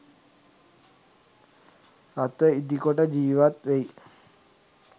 රථ ඉදිකොට ජීවත් වෙයි.